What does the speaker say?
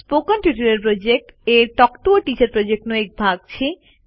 spoken tutorial project a talk to a teacher પ્રોજેક્ટનો એક ભાગ છે